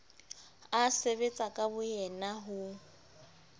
a sebetsa ka boyena ho